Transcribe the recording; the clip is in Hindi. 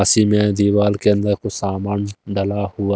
में दीवार के अंदर कुछ सामान लगा हुआ--